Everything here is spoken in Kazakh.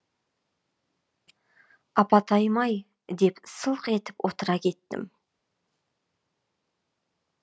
апатайым ай деп сылқ ете отыра кеттім